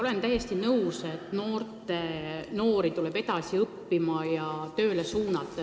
Olen täiesti nõus, et noori tuleb edasi õppima ja tööle suunata.